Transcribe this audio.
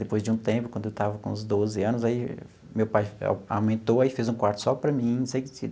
Depois de um tempo, quando eu estava com uns doze anos, aí meu pai aumentou e fez um quarto só para mim.